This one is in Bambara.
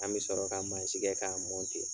An bɛ sɔrɔ ka mansin kɛ ka